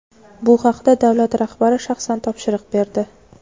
Bu haqda davlat rahbari shaxsan topshiriq berdi.